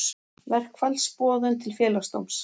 Verkfallsboðun til félagsdóms